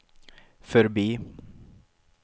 förbi